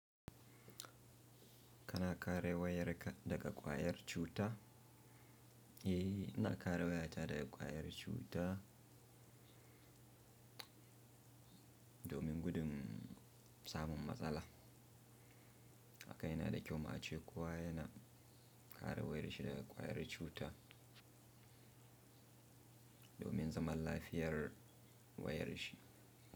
Kana kare wayar ka daga ƙwayar cuta? Eh, ina kare wayata daga ƙwayar cuta domin gudun samun matsala. Haka yana da kyau ma ce kuwa yana kare wayar shi daga ƙwayar cuta domin zaman lafiyar wayar shi.